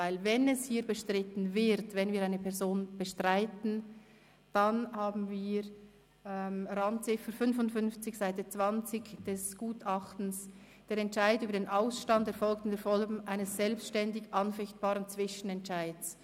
Denn, wenn hier bestritten wird, also wenn wir eine Person bestreiten, dann haben wir die Randziffer 55 auf Seite 20 des Gutachtens: «Der Entscheid über den Ausstand erfolgt in der Form eines selbstständig anfechtbaren Zwischenentscheids».